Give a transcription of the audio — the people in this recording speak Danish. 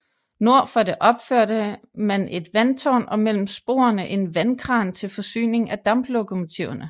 Nord for det opførte man et vandtårn og mellem sporene en vandkran til forsyning af damplokomotiverne